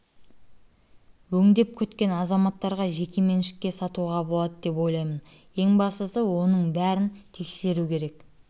өңдеп күткен азаматтарға жеке меншікке сатуға болады деп ойлаймын ең бастысы оның бәрін тексеру керек